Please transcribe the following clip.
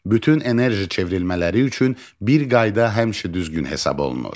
Bütün enerji çevrilmələri üçün bir qayda həmişə düzgün hesab olunur.